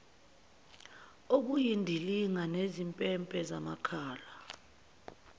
obuyindilinga nezimpempe zamakhala